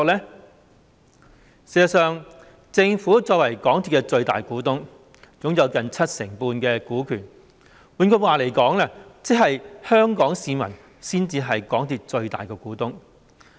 事實上，政府作為港鐵公司的最大股東，擁有近七成半的股權，換句話說，即是香港市民才是港鐵公司的最大股東。